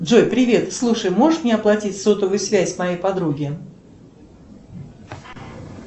джой привет слушай можешь мне оплатить сотовую связь моей подруги